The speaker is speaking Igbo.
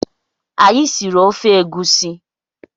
Anyị siri ofe egusi